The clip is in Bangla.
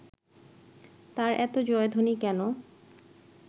তার এত জয়ধ্বনি কেন